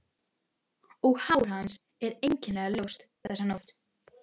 Föstudagur finnst mér fremur dagur til uppstokkunar en mánudagur.